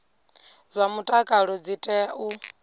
zwa mutakalo dzi tea u